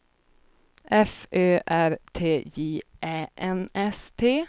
F Ö R T J Ä N S T